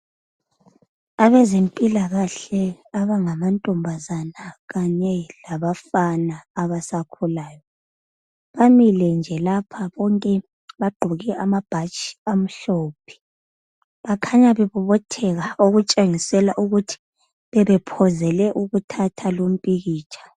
Abezempilakahle abangamantombazane kanye labangabafana abasakhulayo bamile nje bonke lapha bagqoke amabhatshi amhlophe bakhanya bebobotheka okutshengisa ukuthi bebelungele ukuthatha umfanekiso.